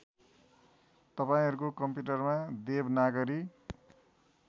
तपाईँहरूको कम्प्युटरमा देवनागरी